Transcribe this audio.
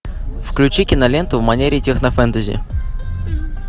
включи киноленту в манере технофэнтези